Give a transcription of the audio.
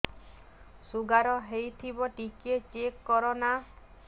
sugar ହେଇଥିବ ଟିକେ check କର ନା